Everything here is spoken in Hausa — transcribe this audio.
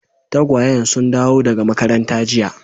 Tagwayen sun dawo daga makaranta jiya.